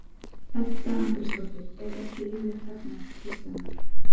Edda Andrésdóttir: Er ekki líflegt þarna Kristjana?